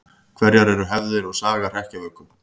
Hverjar eru hefðir og saga hrekkjavöku?